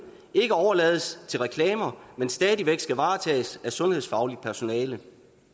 ikke overlades til reklamer men stadig væk skal varetages af sundhedsfagligt personale